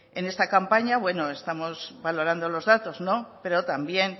en esta campaña bueno estamos valorando los datos pero también